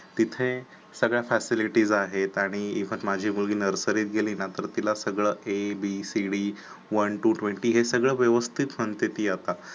तिथे सगळ्या Facilities आहेत आणि पण माझी मुलगी नर्सरीत गेली ना तर तिला सगळं एबीसीडी वन टू ट्वेंटी हे सगळं व्यवस्थित म्हणती ती आता.